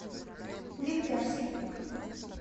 дегтярске